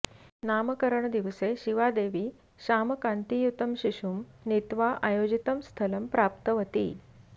नामकरणदिवसे शिवादेवी श्यामकान्तियुतं शिशुं नीत्वा आयोजितं स्थलं प्राप्तवती